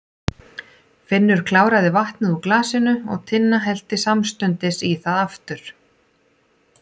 Finnur kláraði vatnið úr glasinu og Tinna hellti samstundis í það aftur.